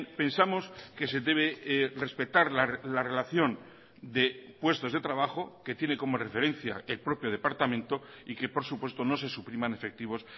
pensamos que se debe respetar la relación de puestos de trabajo que tiene como referencia el propio departamento y que por supuesto no se supriman efectivos